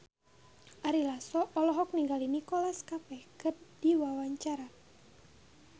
Ari Lasso olohok ningali Nicholas Cafe keur diwawancara